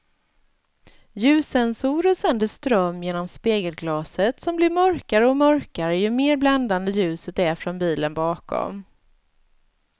Ljussensorer sänder ström genom spegelglaset som blir mörkare och mörkare ju mer bländande ljuset är från bilen bakom.